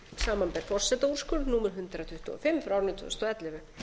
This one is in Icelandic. samanber forsetaúrskurð númer hundrað tuttugu og fimm tvö þúsund og ellefu